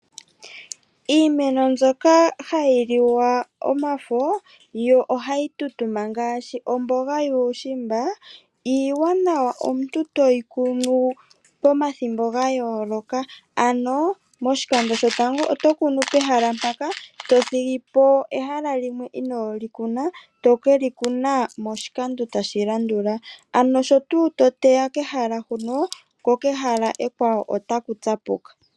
Iimeno mbyoka hayi liwa omafo yo ohayi tutuma ngaashi omboga yuushimba, iiwanawa omuntu toyi kunu pomathimbo gayooloka, ano moshikando shotango oto kunu pehala mpaka , to thigipo ehala limwe inooli kuna , tokeli kuna moshikando tashi landula ano sho tuu to teya kehala huno nokehala ekwawo otaku tsapuka.